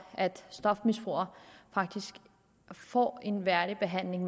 at stofmisbrugere faktisk får en værdig behandling